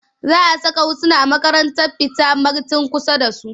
Za a saka Husna a makarantar fita marten kusa da su.